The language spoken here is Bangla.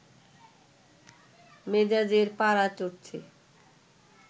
মেজাজের পারা চড়ছে